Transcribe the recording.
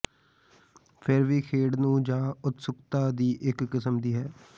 ਫਿਰ ਵੀ ਖੇਡ ਨੂੰ ਜ ਉਤਸੁਕਤਾ ਦੀ ਇੱਕ ਕਿਸਮ ਦੀ ਹੈ